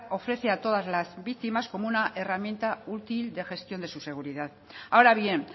ofrece a todas las víctimas como una herramienta útil de gestión de su seguridad ahora bien